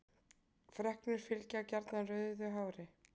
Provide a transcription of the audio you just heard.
Freknur fylgja gjarnan rauðu hári.